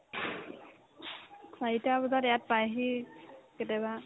চাৰিটা বজাত ইয়াত পাইহি কেতিয়াবা